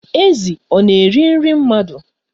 Ezi ọ na-eri nri mmadụ?